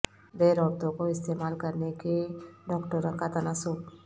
beer عورتوں کو استعمال کرنے کے ڈاکٹروں کا تناسب